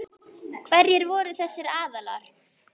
Hverjir voru þessir aðilar?